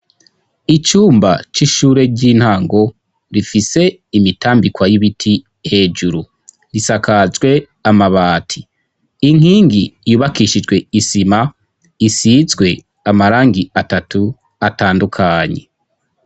Icumba c'ishure ry'intango rifise imitambikwa y'ibiti hejuru; risakajwe amabati. Inkingi yubakishijwe isima isizwe amarangi atatu atandukanye.